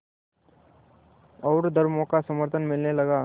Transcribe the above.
और धर्मों का समर्थन मिलने लगा